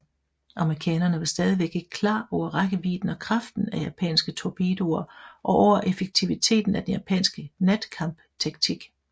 Amerikanerne var stadig ikke klar over rækkevidden og kraften af japanske torpedoer og over effektiviteten af den japanske natkampstaktik